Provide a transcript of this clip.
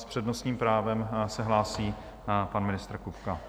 S přednostním právem se hlásí pan ministr Kupka.